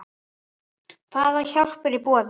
Hvað hjálp er í boði?